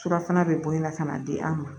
Surafana bɛ bɔ in na ka n'a di an ma